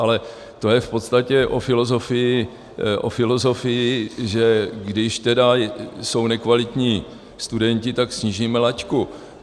Ale to je v podstatě o filozofii, že když jsou nekvalitní studenti, tak snížíme laťku.